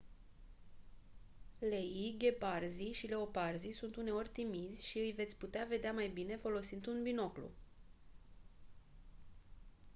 leii gheparzii și leoparzii sunt uneori timizi și îi veți putea vedea mai bine folosind un binoclu